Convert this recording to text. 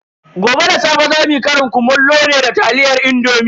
Gobe da safe zamu yi ƙarin kumallo ne da taliyar indomi.